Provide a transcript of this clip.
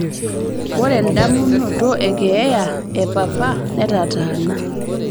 ore endamunoto ekeeya epapa netataana